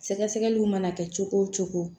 Sɛgɛsɛgɛliw mana kɛ cogo o cogo